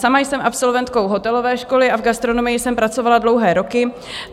Sama jsem absolventkou hotelové školy a v gastronomii jsem pracovala dlouhé roky.